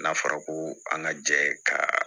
N'a fɔra ko an ka jɛ ka